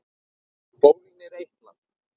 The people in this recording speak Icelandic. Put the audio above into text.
Bólgnir eitlar